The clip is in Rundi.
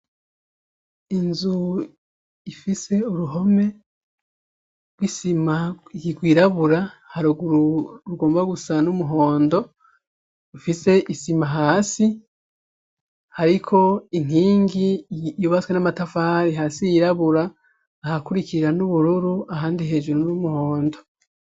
Inzu ifise uruhome rw'isima yirwirabura haruguru rugomba gusa n'umuhondo ufise isima hasi, ariko inkingi yubatswe n'amatafari hasi yirabura ahakurikirira n'ubururu ahandi hee juru nuri umuhondo.